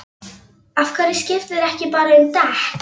Af hverju skiptirðu ekki bara um dekk?